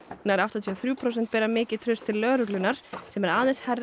nær áttatíu og þrjú prósent bera mikið traust til lögreglunnar sem er aðeins hærra